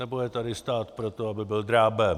Nebo je tady stát pro to, aby byl drábem?